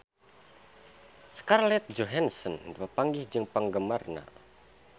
Scarlett Johansson papanggih jeung penggemarna